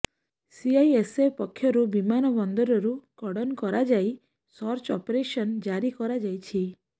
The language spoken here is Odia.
ସିଆଇଏସ୍ଏଫ୍ ପକ୍ଷରୁ ବିମାନ ବନ୍ଦରକୁ କର୍ଡନ କରାଯାଇ ସର୍ଚ୍ଚ ଅପରେସନ୍ ଜାରି କରାଯାଇଛି